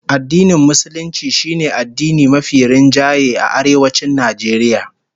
Addinin Musulunci shine addini mafi rinjaye a Arewacin Najeriya